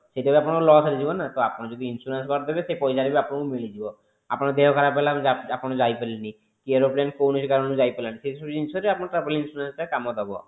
ସେଇଟା ବି ଆପଣଙ୍କର loss ରେ ଯିବ ନା ତ ଆପଣ ଯଦି insurance କରିଦେବେ ତ ସେଇ ପଇସା ବି ଆପଣଙ୍କୁ ମିଳିଯିବ ଆପଣ ଙ୍କ ଦେହ ଖରାବ ହେଲା ଆପଣ ଯାଇ ପରିଲେନି କି aeroplane କୌଣସି କାରଣରୁ ଯାଇ ପାରିଲାନି ସେଇ ସବୁ ଜିନିଷରେ ଆପଣଙ୍କ travel insurance ଟା କମ ଦବ